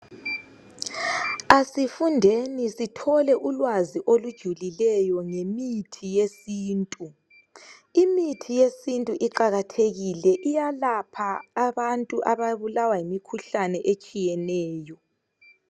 asifundeni sithole ulwazi olujulileyo ngemithi yesintu imithi yesintu iqakathekile iyalapha abantu ababulawa yimikhuhlane etshiyeneyo